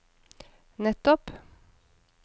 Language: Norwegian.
nettopp